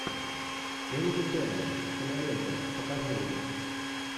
энди теннант кинолента покажи мне